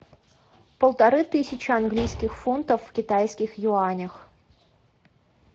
полторы тысячи английских фунтов в китайских юанях